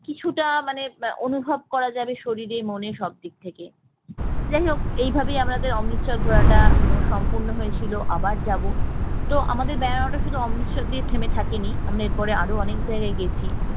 কিছুটা মানে অনুভব করা যাবে শরীরে মনে সব দিক থেকে, যাই হোক এইভাবেই আমাদের অমৃতসর ধরাটা সম্পূর্ণ হয় চলে ঘোড়াটা সম্পূর্ণ হয়েছিল আবার যাবো তো আমাদের বেড়ানোটা শুধু অমৃতসর দিয়ে থেমে থাকেনি আমরা এরপরও আরো অনেক জায়গায় গেছি